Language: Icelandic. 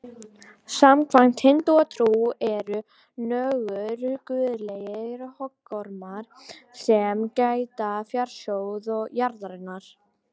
Samkvæmt hindúatrú eru nögur guðlegir höggormar sem gæta fjársjóða jarðarinnar.